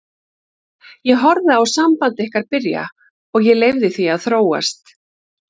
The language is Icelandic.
Ég horfði á samband ykkar byrja og ég leyfði því að þróast.